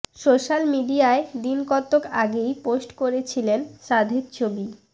social মিডিয়ায় দিন কতক আগেই পোস্ট করেছিলেন সাধের ছবি